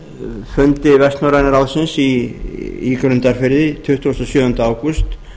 á fundi vestnorræna ráðsins í grundarfirði tuttugasta og sjöunda ágúst